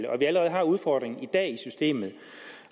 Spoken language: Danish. og at vi allerede har udfordringen i dag i systemet